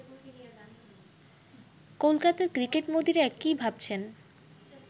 কলকাতার ক্রিকেটমোদিরা কি ভাবছেন